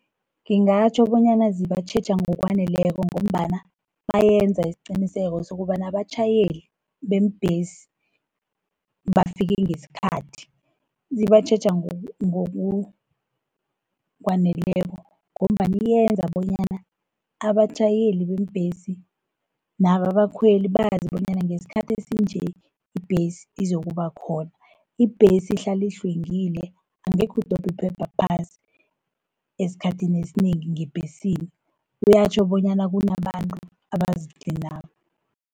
Ngingatjho bonyana zibatjheja ngokwaneleko, ngombana bayenza isiqiniseko sokobana abatjhayeli, beembhesi bafike ngesikhathi. Zibatjheja ngokwaneleko ngombana yenza bonyana abatjhayeli beembhesi nabo abakhweli bazi bonyana ngesikhathi esinje ibhesi izokubakhona. Ibhesi ihlali ihlwengile angekhu udobhi iphepha phasi, esikhathini esinengi ngebhesini. Kuyatjho bonyana kunabantu abazitlinako.